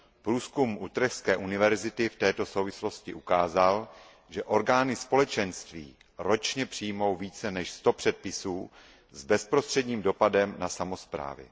Průzkum Utrechtské univerzity v této souvislosti ukázal, že orgány Společenství ročně přijmou více než sto předpisů s bezprostředním dopadem na samosprávy.